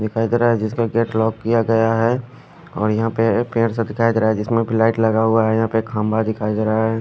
दिखाई दे रहा है जिसका गेट लॉक किया गया है और यहां पे पेड़ सा दिखाई दे रहा है जिसमें लाइट लगा हुआ है यहां पे खंभा दिखाई दे रहा है।